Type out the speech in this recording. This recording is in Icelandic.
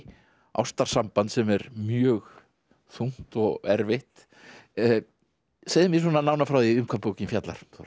ástarsamband sem er mjög þungt og erfitt segðu mér svona nánar frá því um hvað bókin fjallar Þóra